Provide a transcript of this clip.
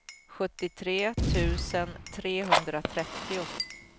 sjuttiotre tusen trehundratrettio